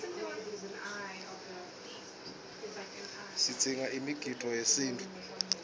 sigidza imigidvo yesintfu